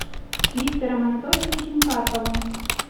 виктором анатольевичем карповым